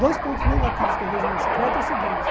Dois pontos negativos que eu vejo na bicicleta é o seguinte.